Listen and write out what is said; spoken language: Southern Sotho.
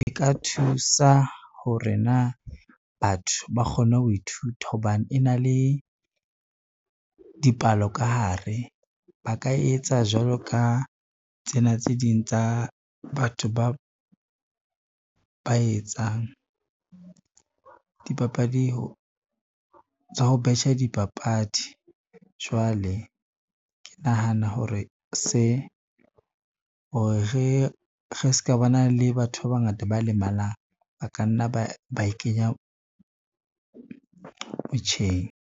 E ka thusa hore na batho ba kgone ho ithuta hobane e na le dipalo ka hare. Ba ka etsa jwalo ka tsena tse ding tsa batho ba etsang tsa ho betjha dipapadi. Jwale ke nahana ho re re ska ba na le batho ba bangata ba lemalang, ba ka nna ba e kenya .